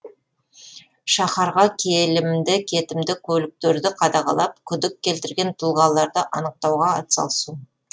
шаһарға келімді кетімді көліктерді қадағалап күдік келтірген тұлғаларды анықтауға атсалысу